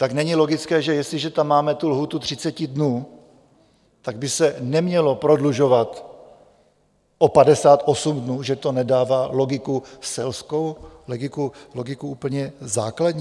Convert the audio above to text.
Tak není logické, že jestliže tam máme tu lhůtu 30 dnů, tak by se nemělo prodlužovat o 58 dnů, že to nedává logiku selskou, logiku úplně základní?